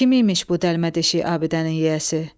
Kim imiş bu dəlmədeşik abidənin yiyəsi?